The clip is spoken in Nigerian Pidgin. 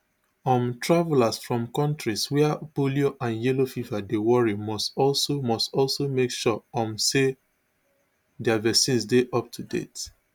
um travellers from kontris wia polio and yellow fever dey worry must also must also make sure um say dia vaccines dey up to date